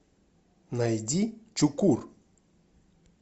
найди чукур